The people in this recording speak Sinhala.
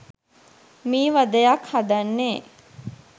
මී වදයක් හදන්නේ